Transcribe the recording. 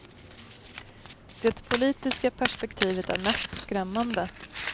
Det politiska perspektivet är mest skrämmande.